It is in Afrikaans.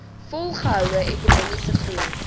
volgehoue ekonomiese groei